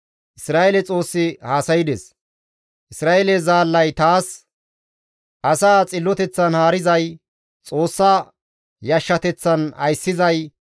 Isra7eele Xoossi haasaydes; Isra7eele zaallay taas, ‹Asaa xilloteththan haarizay, Xoossa yashshateththan ayssizay,